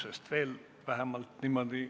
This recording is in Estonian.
Sest niimoodi ...